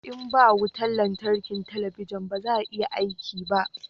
in ba wutan lantarki talabijin ba zai iya aiki ba